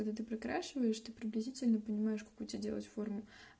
когда ты прокрашиваешь ты приблизительно понимаешь какую тебе делать форму